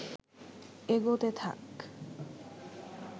এগোতে থাক